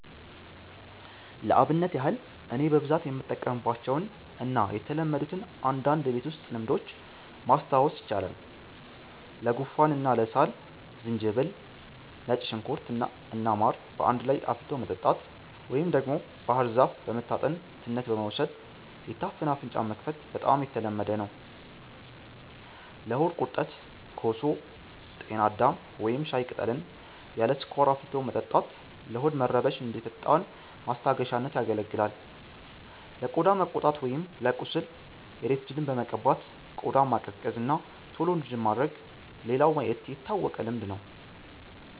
ለአብነት ያህል እኔ በብዛት የምጠቀምባቸውን እና የተለመዱትን አንዳንድ የቤት ውስጥ ልምዶች ማስታወስ ይቻላል፦ ለጉንፋን እና ለሳል፦ ዝንጅብል፣ ነጭ ሽንኩርት እና ማር በአንድ ላይ አፍልቶ መጠጣት፣ ወይም ደግሞ ባህር ዛፍ በመታጠን ትነት በመውሰድ የታፈነ አፍንጫን መክፈት በጣም የተለመደ ነው። ለሆድ ቁርጠት፦ ኮሶ፣ ጤና አዳም ወይም ሻይ ቅጠልን ያለ ስኳር አፍልቶ መጠጣት ለሆድ መረበሽ እንደ ፈጣን ማስታገሻነት ያገለግላል። ለቆዳ መቆጣት ወይም ለቁስል፦ የሬት ጄልን በመቀባት ቆዳን ማቀዝቀዝ እና ቶሎ እንዲድን ማድረግ ሌላው የታወቀ ልምድ ነው።